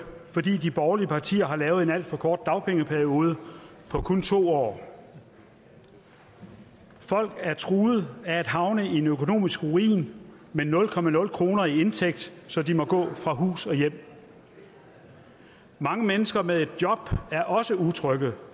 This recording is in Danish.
fordi de borgerlige partier har lavet en alt for kort dagpengeperiode på kun to år folk er truede af at havne i en økonomisk ruin med nul kroner nul kroner i indtægt så de må gå fra hus og hjem mange mennesker med et job er også utrygge